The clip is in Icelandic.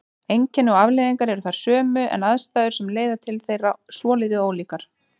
Einkenni og afleiðingar eru þær sömu en aðstæður sem leiða til þeirra svolítið ólíkar.